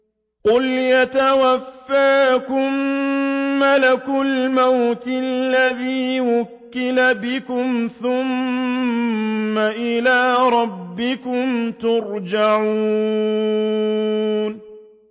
۞ قُلْ يَتَوَفَّاكُم مَّلَكُ الْمَوْتِ الَّذِي وُكِّلَ بِكُمْ ثُمَّ إِلَىٰ رَبِّكُمْ تُرْجَعُونَ